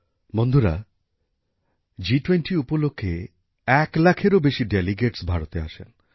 বন্ধুরা জি২০ উপলক্ষে এক লাখের বেশী প্রতিনিধি ভারতে আসেন